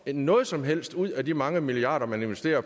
noget som helst ud af de mange milliarder man investerer